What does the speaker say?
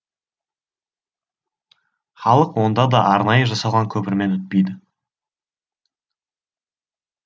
халық онда да арнайы жасалған көпірмен өтпейді